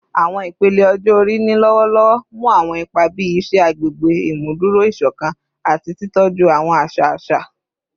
Awọn ipele ọjọ-ori ni lọwọlọwọ mu awọn ipa bii iṣẹ agbegbe, imuduro isokan, ati titọju awọn aṣa aṣa